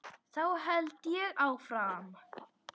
Þá held ég áfram.